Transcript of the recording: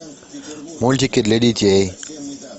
мультики для детей